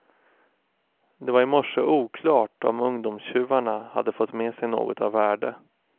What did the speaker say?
Det var i morse oklart om ungdomstjuvarna hade fått med sig något av värde.